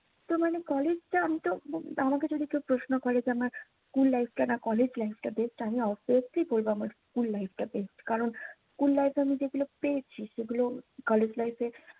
তা মানে college টা আমিতো, আমাকে যদি কেউ প্রশ্ন করে যে আমার school life টা না college life টা best আমি obviously বলবো আমার school life টা best কারণ, school life এ আমি যেগুলো পেরেছি। সেগুলো college life এ